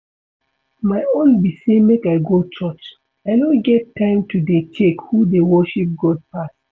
My own be say make I go church, I no get time to dey check who dey worship God pass